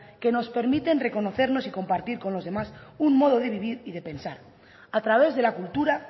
que nos permiten reconocernos y compartir con los demás un modo de vivir y de pensar a través de la cultura